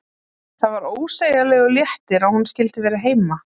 Það var ósegjanlegur léttir að hún skyldi vera heima.